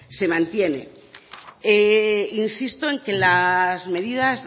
se mantiene insisto en que las medidas